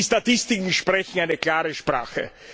Die Statistiken sprechen eine klare Sprache.